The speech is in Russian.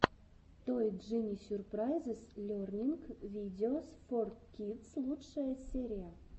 той джини сюрпрайзес лернинг видеос фор кидс лучшая серия